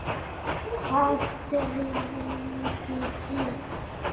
Hvað dreymdi þig?